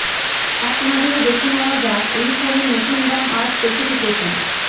এক নজরে দেখে নেওয়ার যাক এই ফোনের নতুন দাম আর স্পেসিফিকেশন